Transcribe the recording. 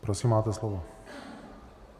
Prosím, máte slovo.